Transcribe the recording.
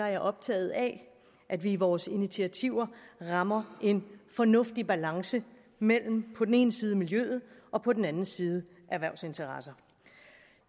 er optaget af at vi i vores initiativer rammer en fornuftig balance mellem på den ene side miljøet og på den anden side erhvervsinteresser